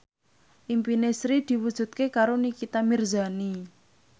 impine Sri diwujudke karo Nikita Mirzani